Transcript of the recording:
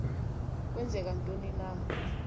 kwenzeka ntoni na